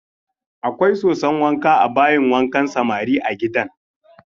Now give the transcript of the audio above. Akwai soson wanka a bayin wankan samari a gidan.